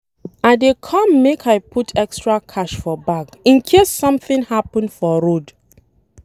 I dey come make I put extra cash for bag in case something happen for road